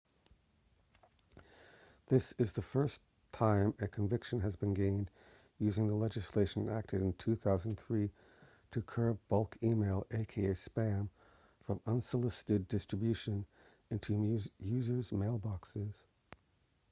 this is the first time a conviction has been gained using the legislation enacted in 2003 to curb bulk e-mail aka spam from unsolicited distribution into users mailboxes